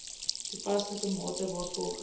toepaslike mate waarvolgens